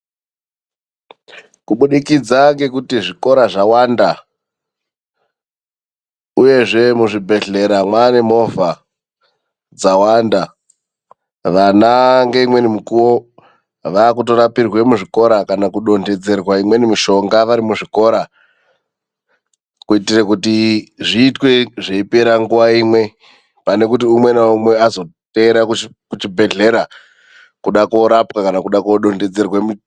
Kubudikidza ngekuti zvikora zvawanda, uyezve muzvibhedhlera mwane movha dzawanda, vana ngeimweni mikuwo vakutorapirwe muzvikora kana kudondedzerwa imweni mishonga vari muzvikora, kuitire kuti zviitwe zveipera nguwa imwe, pane kuti umwe naumwe azoteera kuchibhedhlera kuda korapwa kana kuda kodondedzerwe mi..